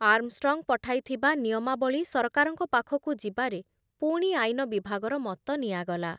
Armstrong ପଠାଇଥିବା ନିୟମାବଳୀ ସରକାରଙ୍କ ପାଖକୁ ଯିବାରେ ପୁଣି ଆଇନ ବିଭାଗର ମତ ନିଆଗଲା ।